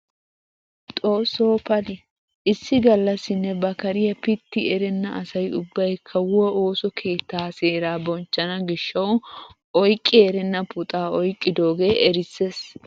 Xoossoo pali! issi galassinne ba kariyaa pitti erenna asay ubbay kawuwaa ooso keettaa seeraa bonchchana giishshawu oyqqi erenna puxaa oyqqidoogee erisses!